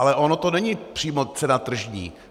Ale ono to není přímo cena tržní.